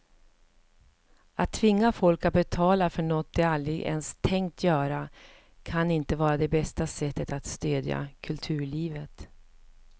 Att tvinga folk att betala för något de aldrig ens tänkt göra kan inte vara det bästa sättet att stödja kulturlivet.